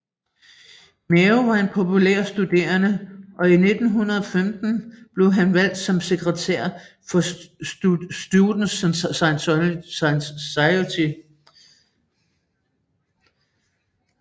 Mao var en populær studerende og i 1915 blev han valgt som sekretær for Students Society